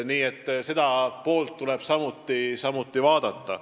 Nii et seda poolt tuleb samuti vaadata.